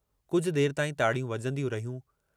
कुझ देर ताईं ताड़ियूं वॼंदियूं रहियूं।